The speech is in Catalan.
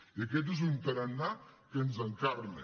i aquest és un tarannà que ens encarna